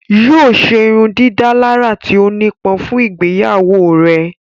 Yóò ṣe ìrundidàlarà tí ó nipọn fun ìgbeyawo rẹ.